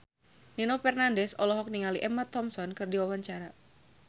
Nino Fernandez olohok ningali Emma Thompson keur diwawancara